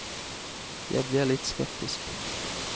Jeg blir litt skeptisk.